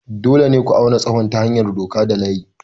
Dole ne ku auna tsawon ta hanyar doka da layi.